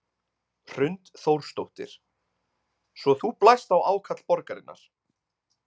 Hrund Þórsdóttir: Svo þú blæst á ákall borgarinnar?